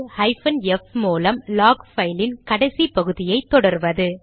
hyphen F மூலம் log பைலின் கடைசி பகுதியை தொடர்வது